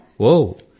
గణితం